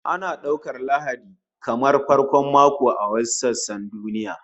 Ana daukar Lahadi kamar farkon mako a wasu sassan duniya